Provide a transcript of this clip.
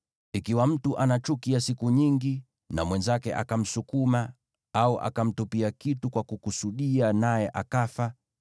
Ikiwa mtu ana chuki ya siku nyingi na mwenzake akamsukuma au akamtupia kitu kwa kukusudia naye akafa,